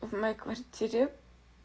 в моей квартире